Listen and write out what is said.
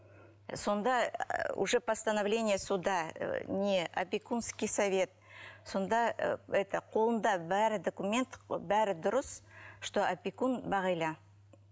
сонда уже постановление суда не опекунский совет сонда і это қолында бәрі документ бәрі дұрыс что опекун бағила